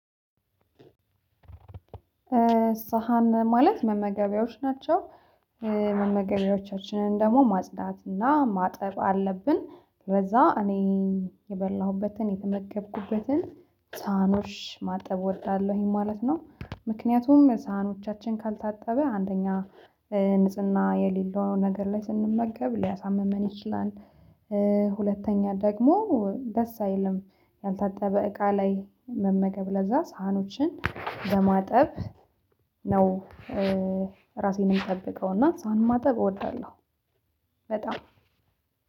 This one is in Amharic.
ሳህን ማለት መመገቢያዎች ናቸው። መመገቢያዎቻችንን ደግሞ ማጽዳትና ማጠብ አለብን። ከዛ እኔ የበላሁበትን የተመገብኩበትን ሳህኖች ማጠብ እወዳለሁኝ ማለት ነው። ምክንያቱም ሳህኖቻችን ካልታጠበ አንደኛ ንጽህና የሌለውን ነገር ላይ ስንመገብ ሊያሳምም እኔ ይችላል። ሁለተኛ ደግሞ ደስ አይልም ያልታጠበ እቃ ላይ መመገብ ለዛ ሳህኖችን በማጠብ ነው። ራሴንም ጠብቀውና ሳህን ማጠብ እወዳለሁ። በጣም